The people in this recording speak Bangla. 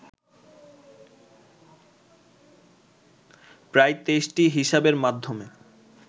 প্রায় ২৩টি হিসাবের মাধ্যমে